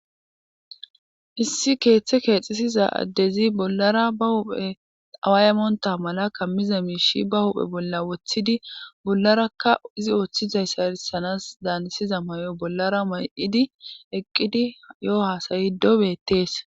Issi keeththe keexisiza addezi bollara ba huphe awaaymonta mala kammiza miishi ba huphe bolla woththidi bollarakka izi woththizay sarisanas daanisiza may7o bollara may7idi eqqidi yo7o haasayi dobeettees